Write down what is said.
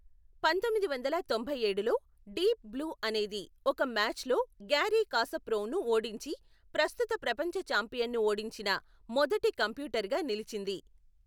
పంతొమ్మిది వందల తొంభై ఏడులో, డీప్ బ్లూ అనేది ఒక మ్యాచ్లో గ్యారీ కాస్పరోవ్ను ఓడించి, ప్రస్తుత ప్రపంచ ఛాంపియన్ను ఓడించిన మొదటి కంప్యూటర్గా నిలిచింది.